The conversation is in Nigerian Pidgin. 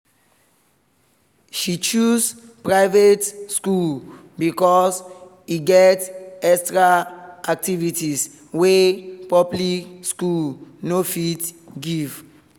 she choose private school because e get extra activities wey public school no fit give